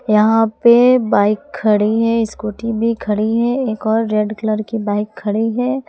यहां पे बाइक खड़ी है स्कूटी भी खड़ी है एक और रेड कलर की बाइक खड़ी है।